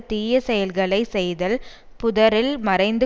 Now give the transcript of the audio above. தீயச்செயல்களைச் செய்தல் புதரில் மறைந்து